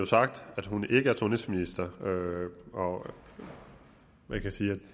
sagt at hun ikke er sundhedsminister og og man kan sige at